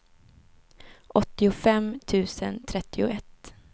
åttiofem tusen trettioett